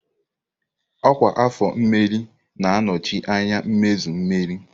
Ọkwa afọ mmerị na-anọchi anya mmezu mmeri.